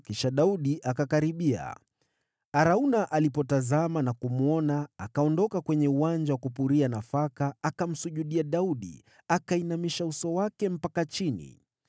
Kisha Daudi akakaribia, Arauna alipotazama na kumwona, akaondoka kwenye uwanja wa kupuria nafaka akamsujudia Daudi akiuinamisha uso wake ardhini.